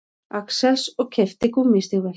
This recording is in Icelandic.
Axels og keypti gúmmístígvél.